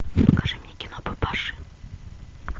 покажи мне кино папаши